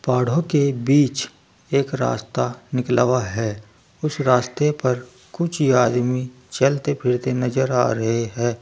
पहाड़ों के बीच एक रास्ता निकाला हुआ है उस रास्ते पर कुछ आदमी चलते फिरते नजर आ रहे हैं।